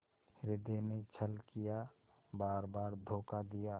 हृदय ने छल किया बारबार धोखा दिया